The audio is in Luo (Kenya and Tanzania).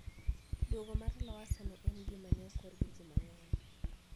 Dwogo mar Lowassa ne en gima ne okor gi ji mang`eny